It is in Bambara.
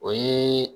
O ye